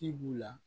Ci b'u la